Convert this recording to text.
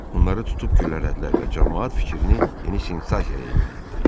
Onları tutub güllələdilər və camaat fikrini yeni sensasiyaya yönəltdi.